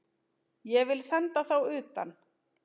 Ég vil senda þá utan!